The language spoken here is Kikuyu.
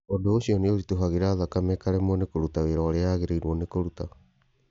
ũndũ ũcio nĩ ũritũhagĩra thakame ĩkaremwo nĩ kũruta wĩra ũrĩa yagĩrĩirwo nĩ kũruta.